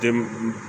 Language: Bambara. Den